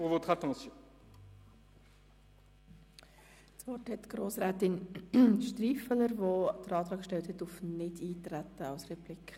Das Wort hat Grossrätin Striffeler, die den Antrag auf Nichteintreten als Replik gestellt hat.